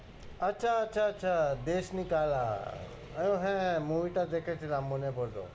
আচ্ছা, আচ্ছা, আচ্ছা দেশনি কালা আমি হ্যাঁ হ্যাঁ movie টা দেখেছিলাম, মনে পরলো।